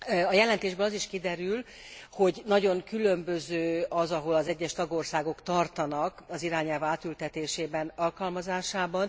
A jelentésből az is kiderül, hogy nagyon különböző az, ahol az egyes tagországok tartanak az irányelv átültetésében, alkalmazásában.